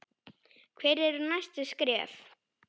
Hver eru næstu skref?